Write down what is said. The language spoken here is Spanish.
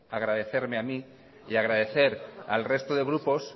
agradecerme a mí y agradecer al resto de grupos